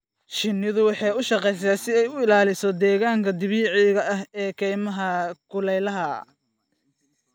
Shinnidu waxay u shaqeysaa si ay u ilaaliso deegaanka dabiiciga ah ee kaymaha kulaylaha.